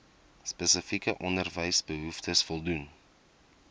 spesifieke onderwysbehoeftes voldoen